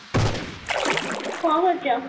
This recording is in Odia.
କ'ଣ କରୁଛ?